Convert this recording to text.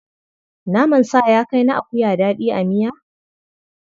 Naman sa ya kai na akuya daɗi a miya?